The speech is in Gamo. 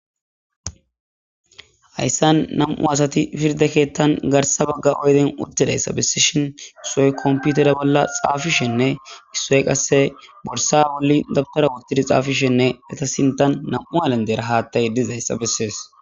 hayssan nam7u asati pirde keettan garsa bagga oyden uttidayssa bessishhin issoy komputere bolla xaafishenne issoy qasse borsa bolli dabtara wuttidi xaafishenne eta sintan nam7u halandeera haattay dizayssa bessees